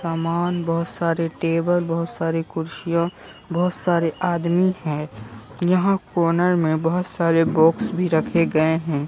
सामान बहोत सारी टेबल बहोत सारी कुर्सियां बहोत सारे आदमी है यहां कोनर में बहोत सारे बॉक्स भी रखे गए हैं।